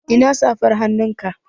Ina safar hannunka?